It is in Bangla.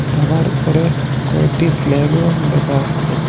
ধাবার উপরে কয়েকটি ফ্লাগও দেখা যাচ্ছে।